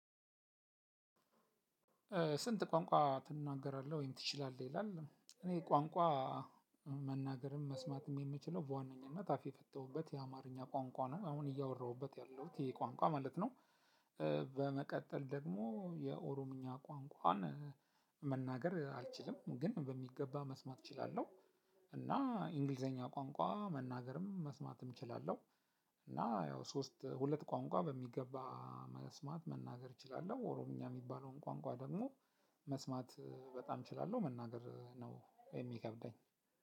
ስንት? ቋንቋ ትናገራለህ ወይም ትችላለህ ይላል እኔ ቋንቋ መናገርም መስማትም የምችለው በዋነኝነት አፍ የፈታሁበት የአማርኛ ቋንቋ ነው አሁን እያወራሁበት ያለሁት ይሄ ቋንቋ ማለት ነው። በመቀጠል ደግሞ የኦሮምኛ ቋንቋን መናገር አልችልም ግን በሚገባ መስማት እችላለሁ። እና እንግሊዘኛ ቋንቋ መናገርም መስማትም እችላለሁ። እና ያው ሶስት ሁለት ቋንቋ በሚገባ መስማት መናገር እችላለሁ ኦሮምኛ የሚባለውን ቋንቋ ደግሞ መስማት በጣም እችላለሁ መናገር ነው የሚከብደኝ።